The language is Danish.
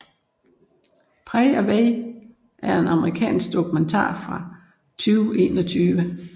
Pray Away er en amerikansk dokumentar fra 2021